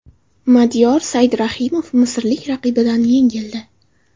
Madiyor Saidrahimov misrlik raqibidan yengildi.